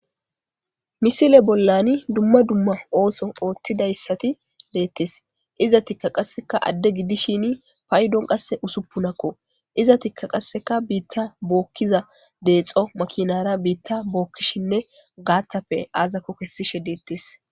misile bollani dumma dumma ooso ootthidayssati deettes iza tikka qasseka adde gidishin paydon qasse usuppunakko iza tikka qaseka biitta bookkiza deexo makinara biitta bookkishinne gaattappe aazako kessishe deettes